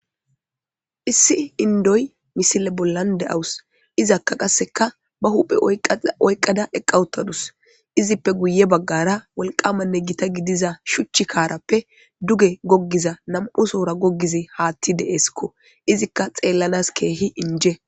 issi indoy misile bollande awus izakka qasseka ba huphe oyqqada eqqawuttadus izippe guye baggara walqamanne gita gidiza shuchchi kaarappe duge goggiza nam7u soora gogize haatti deeskko izikka xeellanas keehi inje